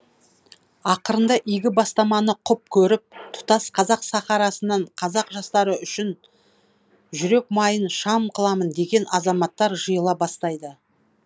ақырында игі бастаманы құп көріп тұтас қазақ сахарасынан қазақ жастары үшін жүрек майын шам қыламын деген азаматтар жиыла бастайды